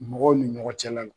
Mɔgɔw ni ɲɔgɔn cɛla l